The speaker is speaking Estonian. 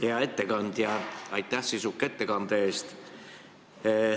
Hea ettekandja, aitäh sisuka ettekande eest!